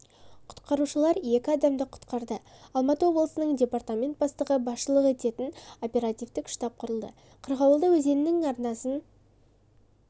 құтқарушылар екі адамды құтқарды алматы облысының департамент бастығы басшылық ететін оперативтік штаб құрылды қырғауылды өзенінің арнасын